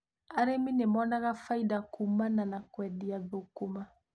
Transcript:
Arĩmi nimonaga baita kuumana na kũendia thũkũma.